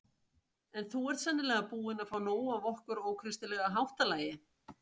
En þú ert sennilega búinn að fá nóg af okkar ókristilega háttalagi.